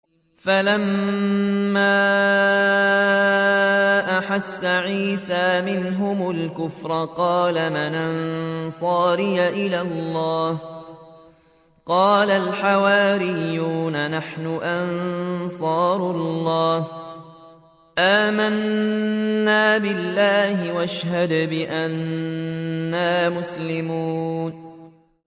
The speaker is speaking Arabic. ۞ فَلَمَّا أَحَسَّ عِيسَىٰ مِنْهُمُ الْكُفْرَ قَالَ مَنْ أَنصَارِي إِلَى اللَّهِ ۖ قَالَ الْحَوَارِيُّونَ نَحْنُ أَنصَارُ اللَّهِ آمَنَّا بِاللَّهِ وَاشْهَدْ بِأَنَّا مُسْلِمُونَ